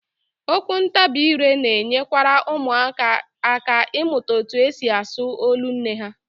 Okwuntabiire na-enyekwara ụmụaka aka ịmụta etu e si asụ olu nne ha